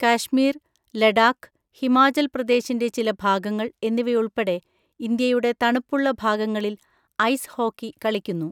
കാശ്മീർ, ലഡാക്ക്, ഹിമാചൽ പ്രദേശിന്‍റെ ചില ഭാഗങ്ങൾ എന്നിവയുൾപ്പെടെ ഇന്ത്യയുടെ തണുപ്പുള്ള ഭാഗങ്ങളിൽ ഐസ് ഹോക്കി കളിക്കുന്നു.